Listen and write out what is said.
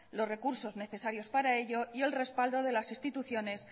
los recursos necesarios para ello y el respaldo de las instituciones